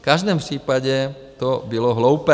V každém případě to bylo hloupé.